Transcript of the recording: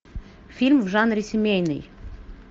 фильм в жанре семейный